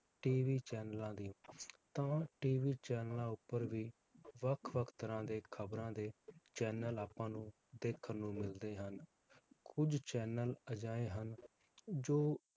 TV ਚੈਨਲਾਂ ਦੀ ਤਾਂ ਹੁਣ TV ਚੈਨਲਾਂ ਉਪਰ ਵੀ ਵੱਖ-ਵੱਖ ਤਰਾਹ ਦੇ ਖਬਰਾਂ ਦੇ channel ਆਪਾਂ ਨੂੰ ਦੇਖਣ ਨੂੰ ਮਿਲਦੇ ਹਨ ਕੁਝ channel ਅਜਿਹੇ ਹਨ ਜੋ